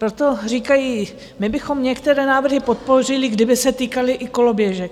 Proto říkají, my bychom některé návrhy podpořili, kdyby se týkaly i koloběžek.